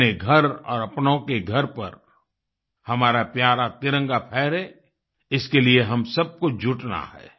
अपने घर और अपनों के घर पर हमारा प्यारा तिरंगा फहरे इसके लिए हम सबको जुटना है